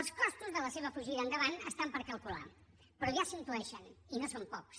els costos de la seva fugida endavant estan per calcular però ja s’intueixen i no són pocs